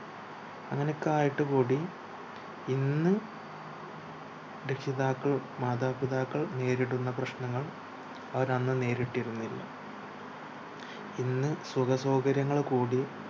അങ്ങനൊക്കായിട് കൂടിയും ഇന്ന് രക്ഷിതാക്കൾ മാതാപിതാക്കൾ നേരിടുന്ന പ്രശ്നങ്ങൾ അവരന്ന് നേരിട്ടിരുന്നില്ല ഇന്ന് സുഖസൗകര്യങ്ങൾ കൂടിയ